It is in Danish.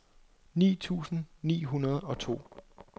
ni tusind ni hundrede og to